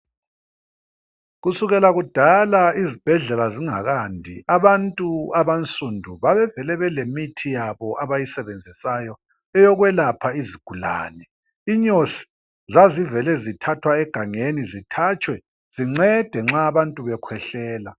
Kusukela kudala izibhedlela zingakandi, abantu abansundu babevele belemithi yabo abayisebenzisayo eyokwelapha izigulane. Inyosi zazivele zithathwa egangeni, zithatshwe, zincede nxa abantu bekhwehlela.